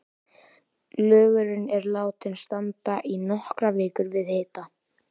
Lögurinn er látinn standa í nokkrar vikur við hita.